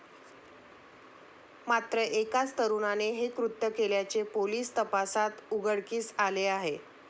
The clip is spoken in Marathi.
मात्र एकाच तरुणाने हे कृत्य केल्याचे पोलीस तपासात उघडकीस आले आहे.